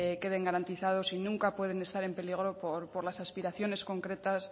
queden garantizados y nunca pueden estar en peligro por las aspiraciones concretas